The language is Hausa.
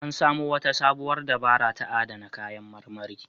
An samo wata sabuwar dabara ta adana kayan marmari.